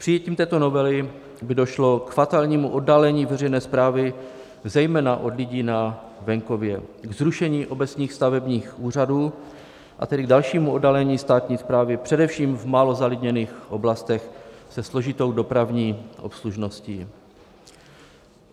Přijetím této novely by došlo k fatálnímu oddálení veřejné správy, zejména od lidí na venkově, k zrušení obecních stavebních úřadů, a tedy k dalšímu oddálení státní správy, především v málo zalidněných oblastech se složitou dopravní obslužností.